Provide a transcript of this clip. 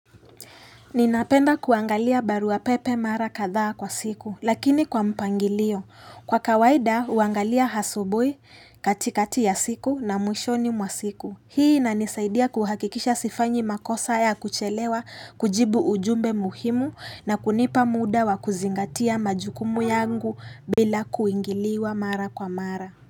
Ninapenda kuangalia barua pepe mara kadhaa kwa siku, lakini kwa mpangilio. Kwa kawaida, huangalia hasubuhi katikati ya siku na mwishoni mwa siku. Hii inanisaidia kuhakikisha sifanyi makosa ya kuchelewa kujibu ujumbe muhimu na kunipa muda wa kuzingatia majukumu yangu bila kuingiliwa mara kwa mara.